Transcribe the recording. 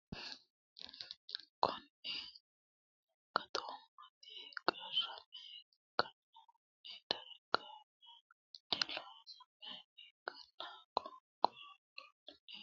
Konninni gatoommati qarrame kainohunni darawosewiinni looseemma ikkinina fonqoloho woriidi guma beetto ya ane gedeeta ikkite abbitanni ubbe galtaraatina ledo diba annoena !